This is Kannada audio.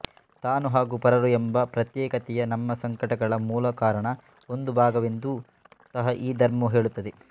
ತಾನು ಹಾಗು ಪರರು ಎಂಬ ಪ್ರತ್ಯೇಕತೆಯೇ ನಮ್ಮ ಸಂಕಟಗಳ ಮೂಲ ಕಾರಣದ ಒಂದು ಭಾಗವೆಂದೂ ಸಹ ಈ ಧರ್ಮವು ಹೇಳುತ್ತದೆ